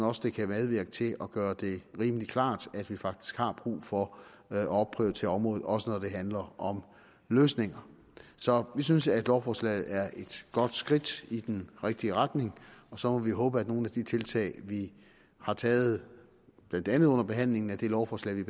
også det kan medvirke til at gøre det rimelig klart at vi faktisk har brug for at opprioritere området også når det handler om løsninger så vi synes at lovforslaget er et godt skridt i den rigtige retning og så må vi håbe at nogle af de tiltag vi har taget blandt andet under behandlingen af det lovforslag vi